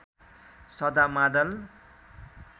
सधा मादल